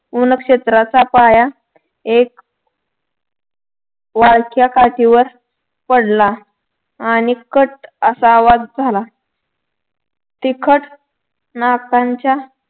वनक्षेत्राचा पाया एक वाळक्या काठीवर पडला आणि कट असा आवाज झाला तिखट नाकाच्या